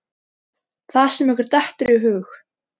Það sem ykkur dettur í hug!